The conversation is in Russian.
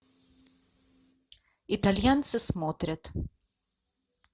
итальянцы смотрят